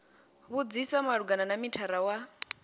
vhudzisa malugana na mithara wa